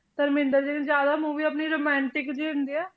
ਧਰਮਿੰਦਰ ਜੀ ਨੇ ਜ਼ਿਆਦਾ movie ਆਪਣੀ romantic ਜਿਹੇ ਹੁੰਦੇ ਹੈ।